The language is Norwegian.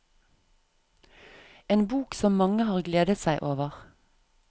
En bok som mange har gledet seg over.